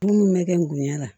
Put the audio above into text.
Minnu bɛ kɛ n'u ɲɛ la